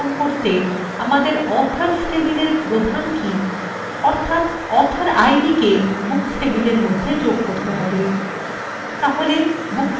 আমাদের authors table প্রধান key অর্থাত author idকে books tableএর মধ্যে যোগ করে